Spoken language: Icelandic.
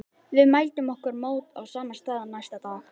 Við mæltum okkur mót á sama stað næsta dag.